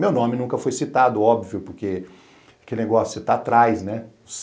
Meu nome nunca foi citado, óbvio, porque que negócio que você está atrás, né?